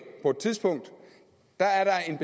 på et tidspunkt er en